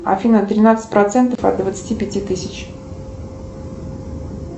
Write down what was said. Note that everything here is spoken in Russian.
афина тринадцать процентов от двадцати пяти тысяч